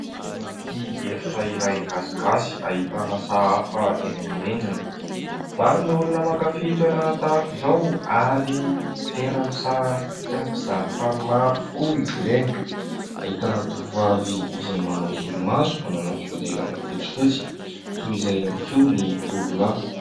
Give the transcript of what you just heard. Anaty efitra iray gasigasy ahitana sahafa eny amin'ny rindrina. Maro ny olona ny olona mankafy toerana tahaka izao ary tena misarika mpizaha tany maro tokoa izy ireny. Ahitana tovovavy izay manao solomaso manana fihodirana fotsifotsy, toy izay ihany koa ny tovolahy.